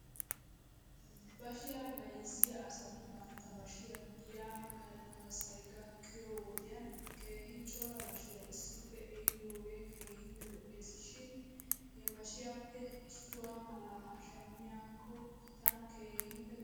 Bashiyaa bayzziyaa asati bantta bashiyaa giya galassay gakkiyoo wodiyan keehi cora bashiyaa issippe ehiidoogee keehippe lo'es shin hebashiyaappe issuwaa malaa shamiyaakke tana keehippe lo'es.